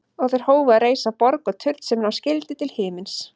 Og þeir hófu að reisa borg og turn sem ná skyldi til himins.